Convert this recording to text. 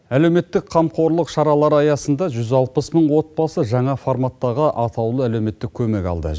әлеуметтік қамқорлық шаралары аясында жүз алпыс мың отбасы жаңа форматтағы атаулы әлеуметтік көмек алды